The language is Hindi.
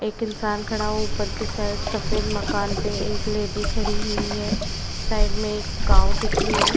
एक इन्सान खड़ा है। ऊपर कि साइड सफेद मकान पे एक लेडी खड़ी हुई है। साइड में एक काऊ दिख रही है।